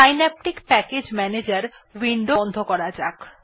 Synaptic package ম্যানেজের window বন্ধ করা যাক